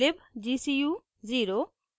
libgcu0